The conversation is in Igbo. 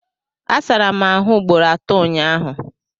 Asara m ahụ ugboro atọ ụnyaahụ